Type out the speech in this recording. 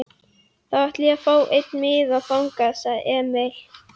Þá ætla ég að fá einn miða þangað, sagði Emil.